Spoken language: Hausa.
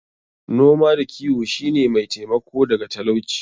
Noma da kiwo shi ne mai taimako daga talauci.